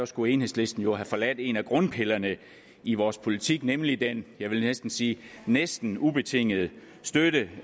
skulle enhedslisten jo have forladt en af grundpillerne i vores politik nemlig den jeg næsten sige næsten ubetingede støtte